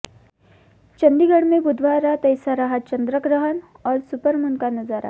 चंडीगढ़ में बुधवार रात ऐसा रहा चंद्रग्रहण और सुपरमून का नजारा